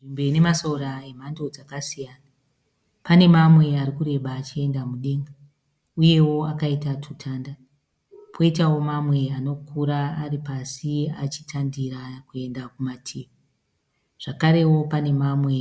Nzvimbo ine masora emhando dzakasiyana. Pane mamwe ari kureba achienda mudenga uyewo akaita tutanda poitawo mamwe anokura ari pasi achitandira kuenda kumativi zvakarewo pane mamwe